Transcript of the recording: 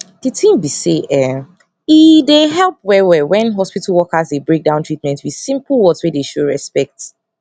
d tin be say um eehe dey help wellwell when hospital workers dey break down treatment with simple words wey dey show respect